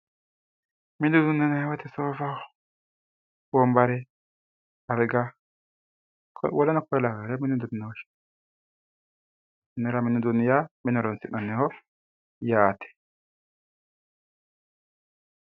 Mini uduune yinnanni woyte soofaho wombare alga woleno kuri lawinore mini uduune yaa mine horonsi'naniho yaate.